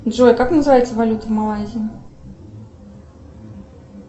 джой как называется валюта малайзии